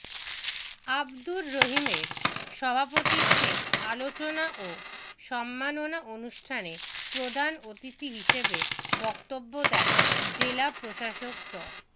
আবদুর রহিমের সভাপতিত্বে আলোচনা ও সম্মাননা অনুষ্ঠানে প্রধান অতিথি হিসেবে বক্তব্য দেন জেলা প্রশাসক ড